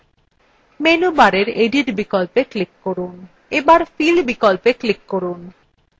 menu bar edit বিকল্পে click করুন bar fill বিকল্পে click করুন